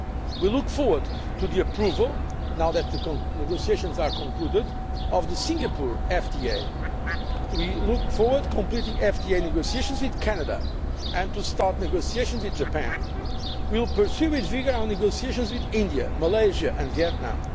We look forward to the approval, now that the negotiations have been concluded, of the Singapore FTA and we look forward to completing FTA negotiations with Canada and to starting negotiations with Japan. We will pursue with vigour our negotiations with India, Malaysia and